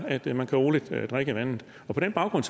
at man roligt kan drikke vandet og på den baggrund